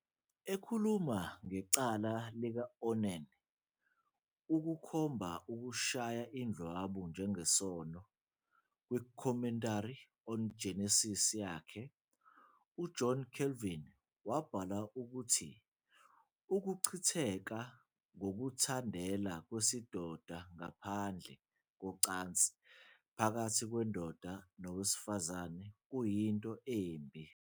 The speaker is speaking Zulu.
Ekhuluma ngecala lika-Onan ukukhomba ukushaya indlwabu njengesono, "kwiCommentary on Genesis yakhe", uJohn Calvin wabhala ukuthi "ukuchitheka ngokuzithandela kwesidoda ngaphandle kocansi phakathi kwendoda nowesifazane kuyinto embi kakhulu.